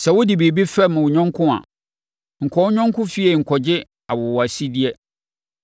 Sɛ wode biribi fɛm wo yɔnko a, nkɔ wo yɔnko fie nkɔgye awowasideɛ.